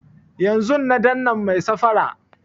Yanzun na dannan mai safara